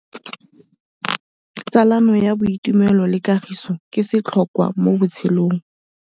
Tsalano ya boitumelo le kagiso ke setlhôkwa mo botshelong.